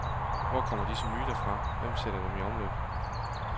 Hvor kommer disse myter fra, hvem sætter dem i omløb?